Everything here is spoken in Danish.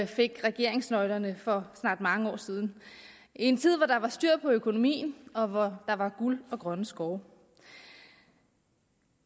fik regeringsnøglerne for snart mange år siden i en tid hvor der var styr på økonomien og hvor der var guld og grønne skove